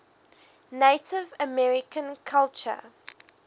native american culture